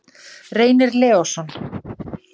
Reynir Leósson.